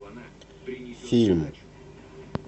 фильм